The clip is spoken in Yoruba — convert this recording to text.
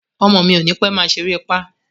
Ọmọ mi ò ní pẹ́ máa ṣeré pá